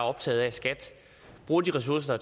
optaget af at skat bruger de ressourcer